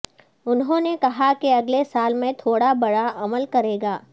انہوں نے کہا کہ اگلے سال میں تھوڑا برا عمل کرے گا